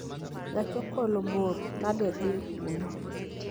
Gach okolo bor nadedhi kuno